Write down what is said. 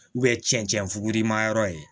cɛncɛn fugurimayɔrɔ ye